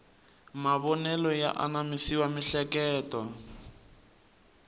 mavonelo ya anamisa miehleketo